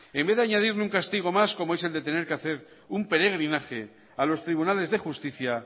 en vez de añadir un castigo más como es el de tener que hacer un peregrinaje a los tribunales de justicia